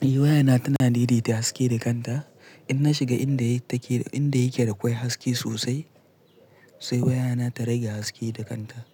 Eh waya ta tana daidaita haske da kanta. In na shiga inda yake da kwai haske sosai, sai waya na ta rage haske da kanta.